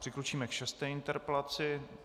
Přikročíme k šesté interpelaci.